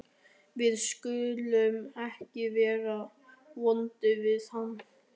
Við skulum ekki vera vond við hann.